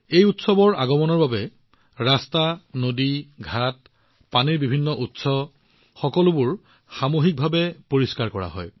এই উৎসৱৰ আগমনৰ পিছত ৰাস্তা নদী ঘাট পানীৰ বিভিন্ন উৎস সকলোবোৰ সামূহিক পৰ্যায়ত পৰিষ্কাৰ কৰা হয়